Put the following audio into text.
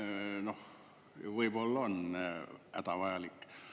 No võib-olla on see hädavajalik.